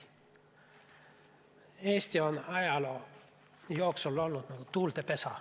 Eesti on ajaloo jooksul olnud nagu tuulte pesa.